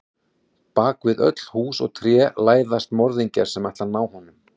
Bak við öll hús og tré læðast morðingjar sem ætla að ná honum.